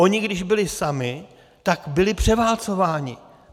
Oni když byli sami, tak byli převálcováni.